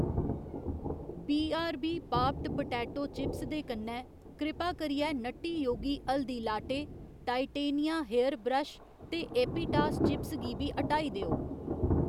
BRB popped potato chips दे कन्नै, कृपा करियै nutty yogi haldi latte, titania hair brush ते एपिटास चिप्स गी बी हटाई देओ।